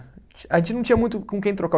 A gente não tinha muito com quem trocar.